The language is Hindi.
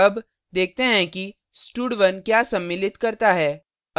अब देखते हैं कि stud1 क्या सम्मिलित करता है